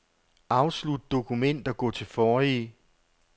Afslut dokument og gå til forrige.